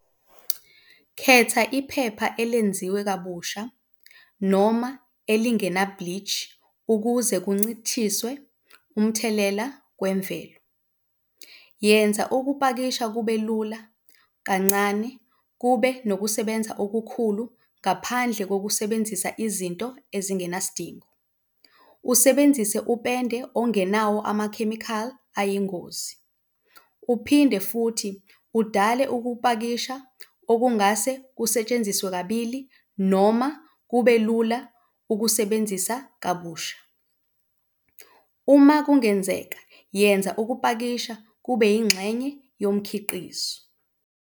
Khetha iphepha elenziwe kabusha noma elingena-bleach ukuze kuncishiswe umthelela kwemvelo. Yenza ukupakisha kube lula kancane, kube nokusebenza okukhulu ngaphandle kokusebenzisa izinto ezingenasidingo, usebenzise upende ongenawo amakhemikhali ayingozi. Uphinde futhi udale ukupakisha okungase kusetshenziswe kabili noma kube lula ukusebenzisa kabusha, uma kungenzeka yenza ukupakisha kube yingxenye yomkhiqizo.